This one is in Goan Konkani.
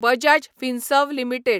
बजाज फिनसर्व लिमिटेड